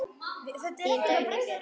Þín Dagný Björk.